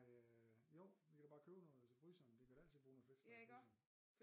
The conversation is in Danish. Nej øh jo vi kan da bare købe noget til fryseren det kan vi da altid bruge noget flæskesteg i fryseren